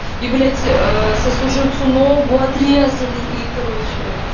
и блять ээ сослуживцу ногу отрезали и короче